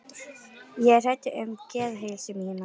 Ég er hræddur um geðheilsu mína.